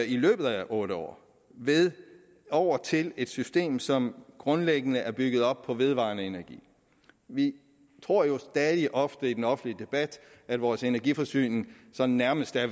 i løbet af otte år ved at gå over til et system som grundlæggende er bygget op på vedvarende energi vi tror jo stadig ofte i den offentlige debat at hele vores energiforsyning sådan nærmest er